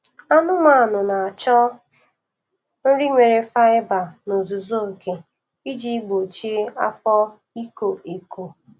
Anụmanụ na-achọ nri nwere faiba n'ozuzu oke iji gbochie afọ iko eko.